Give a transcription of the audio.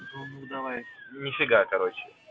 давай ни фига короче